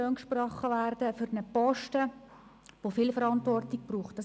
Wir sind nicht dagegen, dass für Posten mit viel Verantwortung grosse Löhne gesprochen werden;